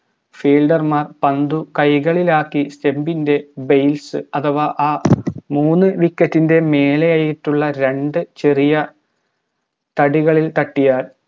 fielder പന്തു കൈകളിലാക്കി stump ൻറെ base അഥവാ ആ മൂന്ന് wicket ൻറെ മേലെയായിട്ടുള്ള രണ്ട് ചെറിയ തടികളിൽ തട്ടിയാൽ